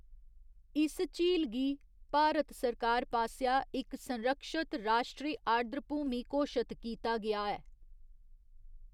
इस झील गी भारत सरकार पासेआ इक संरक्षत राश्ट्री आर्द्रभूमि घोशत कीता गेआ ऐ।